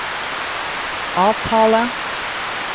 avtale